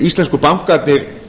íslensku bankarnir